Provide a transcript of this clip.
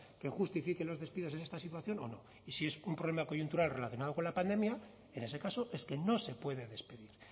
que justifiquen los despidos en esta situación o no y si es un problema coyuntural relacionado con la pandemia en ese caso es que no se puede despedir